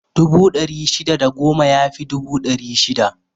Dubu ɗari shida da goma ya fi dubu ɗari shida.